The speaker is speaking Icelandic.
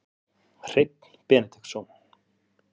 Hreinn Benediktsson